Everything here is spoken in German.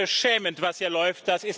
Es ist beschämend, was hier läuft.